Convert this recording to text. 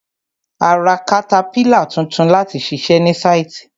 A ra katapílà tuntun láti ṣiṣẹ ní sáìtì.